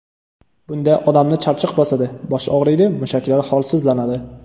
Bunda odamni charchoq bosadi, bosh og‘riydi, mushaklar holsizlanadi.